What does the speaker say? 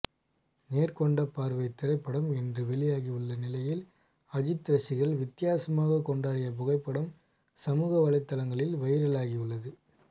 நேர்கொண்ட பார்வை திரைப்படம் இன்று வெளியாகியுள்ள நிலையில் அஜித் ரசிகர் வித்தியாசமாக கொண்டாடிய புகைப்படம் சமூக வலைதளங்களில் வைரலாகியுள்ளது